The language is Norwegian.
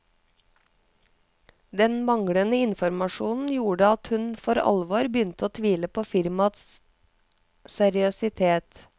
Den manglende informasjonen gjorde at hun for alvor begynte å tvile på firmaets seriøsitet.